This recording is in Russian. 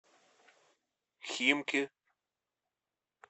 химки